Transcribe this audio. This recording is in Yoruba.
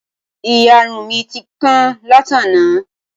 Ìyarun mi ti kán látàná